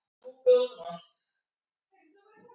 En ég er norsk.